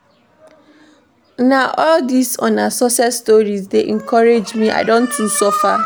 Na all dis una success stories dey encourage me, I don too suffer.